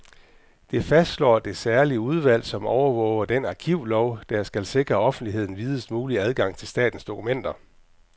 Det fastslår det særlige udvalg, som overvåger den arkivlov, der skal sikre offentligheden videst mulig adgang til statens dokumenter.